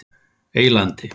Eylandi